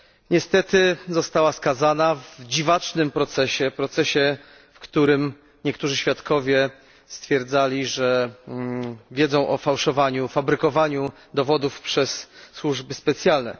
Niestety została skazana w dziwacznym procesie, w którym niektórzy świadkowie stwierdzali, że wiedzą o fałszowaniu i fabrykowaniu dowodów przez służby specjalne.